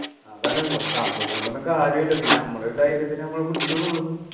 അതാണ് കമ്പം കൊണ്ടൊന്നും കാര്യമില്ല പിന്നെ നമ്മളെ ഒരു ധൈര്യത്തിന് നമ്മൾ പിടിച്ചുനുള്ളു